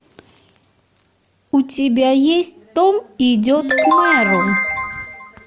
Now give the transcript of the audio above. у тебя есть том идет к мэру